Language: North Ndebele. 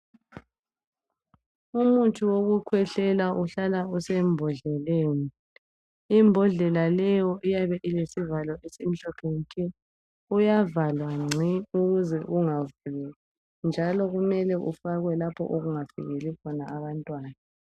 Umuthi wokukhwehlela uhlala usembodleleni , imbodlela leyo iyabe ilesivalo esimhlophe nke uyavalwa gci ukuze ungavuleki njalo kumele ufakwe lapho okungafikeli khona abantwana.